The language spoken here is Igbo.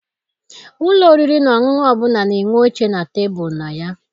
Ụlọ oriri na ọṅụṅụ ọbụla na-enwe oche na tebulu na ya.